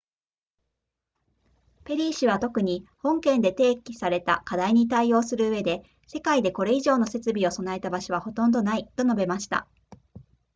ペリー氏は特に本件で提起された課題に対応するうえで世界でこれ以上の設備を備えた場所はほとんどないと述べました